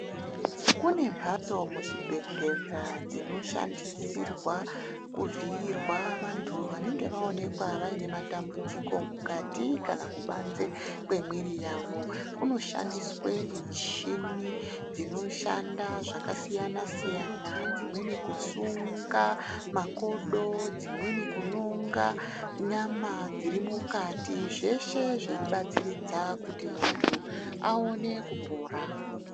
Kune mbatso muzvibhedhlera dzinoshandisirwa kuvhiyirwa vantu vanenge vaonekwa vaine matambudziko mukati kana kubanze kwemwiri yawo. Kunoshandiswe michini dzinoshanda zvakasiyana siyana, dzimweni kusunga makodo, dzimweni kunonga nyama dziri mukati. Zveshe zveibatsiridza kuti muntu aone kupora.